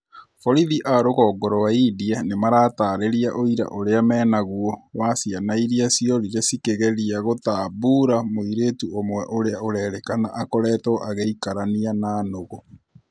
Borithi a rũgongo rwa India nĩmaratarĩria ũira ũria menaguo wa ciana irĩa ciorire cikĩgeria gũtambũra mũirĩtu ũmwe ũrĩa ũrerĩkana akoretwo agĩikarania na nũgũ